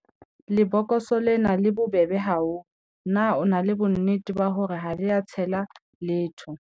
lebokose lena le bobebe haholo, na o na le bonnete ba hore ha le a tshela letho